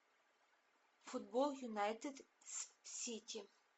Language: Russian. футбол юнайтед с сити